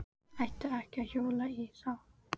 Átti ekki að hjóla í þá.